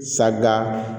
Sada